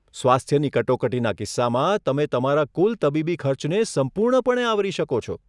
સ્વાસ્થ્યની કટોકટીના કિસ્સામાં, તમે તમારા કુલ તબીબી ખર્ચને સંપૂર્ણપણે આવરી શકો છો.